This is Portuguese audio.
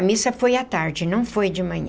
A missa foi à tarde, não foi de manhã.